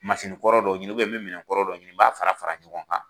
Masigi kɔrɔ dɔ ɲini, n bɛ minɛnkɔrɔ dɔ ɲini , n b'a fara fara ɲɔgɔn kan